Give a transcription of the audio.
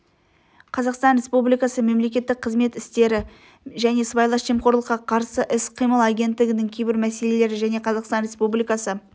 қазақстан республикасы мемлекеттік қызмет істері және сыбайлас жемқорлыққа қарсы іс-қимыл агенттігінің кейбір мәселелері және қазақстан республикасы